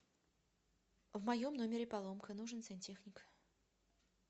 в моем номере поломка нужен сантехник